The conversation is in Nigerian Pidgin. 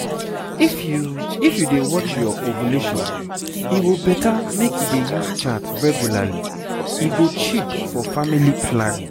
if you if you dey watch your ovulation e go better make you dey use chart regularly e go cheap for family planning.